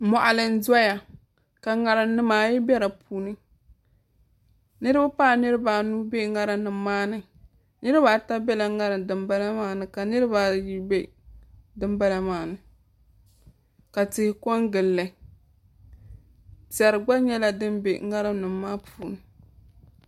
Moɣali n doya ka ŋarim nimaayi bɛ di puuni niraba paai niraba anu bɛ ŋarim maa ni niraba ata biɛla ŋarim dinbala maa ni ka niraba ayi bɛ dinbala maa ni ka tihi ko n gilli piɛri gba nyɛla din bɛ ŋarim dinbala maa puuni